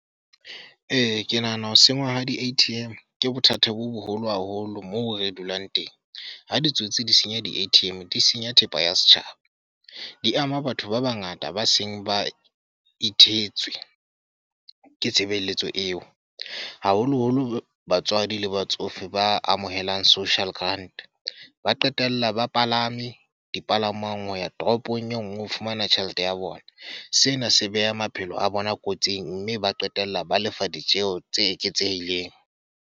Ee, ke nahana ho sengwa ha di A_T_M, ke bothata bo boholo haholo moo re dulang teng. Ha ditsotsi di senya di A_T_M, di senya thepa ya setjhaba. Di ama batho ba bangata ba seng ba ithetswe ke tshebeletso eo. Haholo-holo batswadi le batsofe ba amohelang social grant. Ba qetella ba palame dipalangwang ho ya toropong e nngwe ho fumana tjhelete ya bona. Sena se beha maphelo a bona kotsing, mme ba qetella ba lefa ditjeho tse eketsehileng.